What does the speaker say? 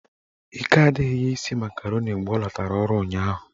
Ike adịghị ya isi makaroni mgbe ọ latara ọrụ ụnyaahụ